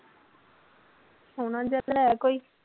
ਸੋਹਣਾ ਜਿਹਾ ਲੈ ਕੋਈ